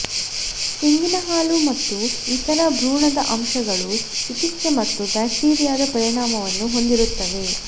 ತೆಂಗಿನ ಹಾಲು ಮತ್ತು ಇತರ ಭ್ರೂಣದ ಅಂಶಗಳು ಚಿಕಿತ್ಸೆ ಮತ್ತು ಬ್ಯಾಕ್ಟೀರಿಯಾದ ಪರಿಣಾಮವನ್ನು ಹೊಂದಿರುತ್ತವೆ